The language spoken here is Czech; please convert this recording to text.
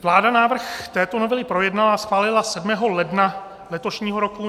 Vláda návrh této novely projednala a schválila 7. ledna letošního roku.